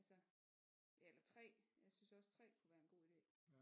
Altså eller 3 jeg synes også 3 kunne være en god idé